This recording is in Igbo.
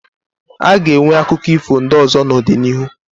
Aga enwe akụkọ ifo ndị ọzọ n'ọdịnihu